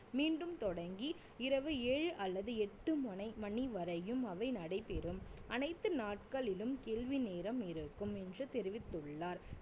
மீண்டும் தொடங்கி இரவு ஏழு அல்லது எட்டு முனை~ மணி வரையும் அவை நடைபெறும் அனைத்து நாட்களிலும் கேள்வி நேரம் இருக்கும் என்று தெரிவித்துள்ளார்